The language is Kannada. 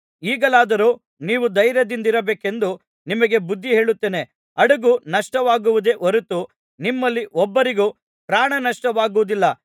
ಈಗಲಾದರೂ ನೀವು ಧೈರ್ಯದಿಂದಿರಬೇಕೆಂದು ನಿಮಗೆ ಬುದ್ಧಿಹೇಳುತ್ತೇನೆ ಹಡಗು ನಷ್ಟವಾಗುವುದೇ ಹೊರತು ನಿಮ್ಮಲ್ಲಿ ಒಬ್ಬರಿಗೂ ಪ್ರಾಣನಷ್ಟವಾಗುವುದಿಲ್ಲ